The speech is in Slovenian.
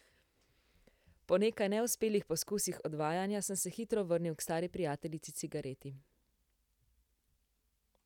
Po nekaj neuspelih poskusih odvajanja, sem se hitro vrnil k stari prijateljici cigareti.